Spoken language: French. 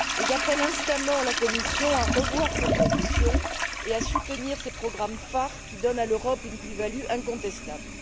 J'appelle instamment la Commission à revoir cette position et à soutenir ces programmes phares qui donnent à l'Europe une plus value incontestable.